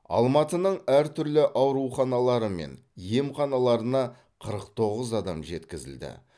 алматының әртүрлі ауруханалары мен емханаларына қырық тоғыз адам жеткізілді